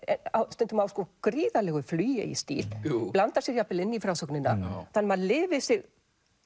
stundum á gríðarlegu flugi í stíl blandar sér jafnvel inn í frásögnina þannig að maður lifir sig